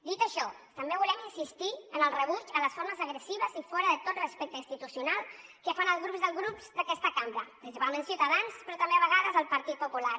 dit això també volem insistir en el rebuig a les formes agressives i fora de tot respecte institucional que fan alguns dels grups d’aquesta cambra principalment ciutadans però també a vegades el partit popular